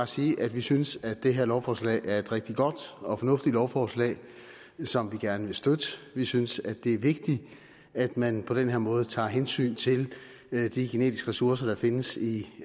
sige at vi synes det her lovforslag er et rigtig godt og fornuftigt lovforslag som vi gerne vil støtte vi synes det er vigtigt at man på den her måde tager hensyn til de genetiske ressourcer der findes i